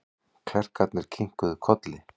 Klerkarnir kinkuðu kolli.